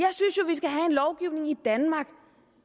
lovgivning i danmark